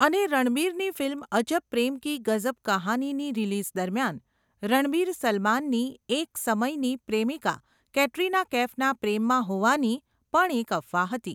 અને રણબીરની ફિલ્મ અજબ પ્રેમ કી ગઝબ કહાની ની રિલીઝ દરમિયાન, રણબીર સલમાનની એક સમયની પ્રેમિકા કેટરિના કૈફના પ્રેમમાં હોવાની, પણ એક અફવા હતી.